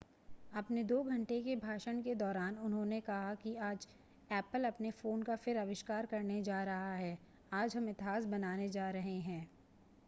अपने 2 घंटे के भाषण के दौरान उन्होंने कहा कि आज ऐपल अपने फ़ोन का फिर आविष्कार करने जा रहा है आज हम इतिहास बनाने जा रहे हैं